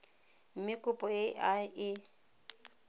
mme kopo e a e